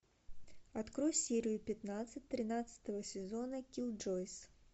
открой серию пятнадцать тринадцатого сезона киллджойс